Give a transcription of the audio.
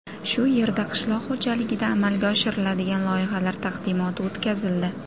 Shu yerda qishloq xo‘jaligida amalga oshiriladigan loyihalar taqdimoti o‘tkazildi.